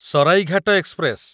Saraighat express